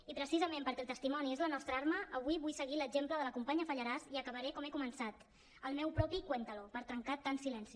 i precisament perquè el testimoni és la nostra arma avui vull seguir l’exemple de la companya fallarás i acabaré com he començat el meu propi cuéntalo per trencar tant silenci